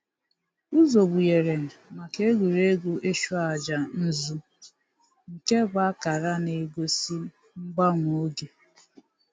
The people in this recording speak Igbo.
Ụzọ gbughere maka egwuregwu ịchụ aja nzụ nke bụ akara na-egosi mgbanwe oge.